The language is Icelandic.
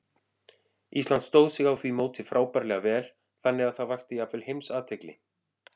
Ísland stóð sig á því móti frábærlega vel, þannig að það vakti jafnvel alheimsathygli.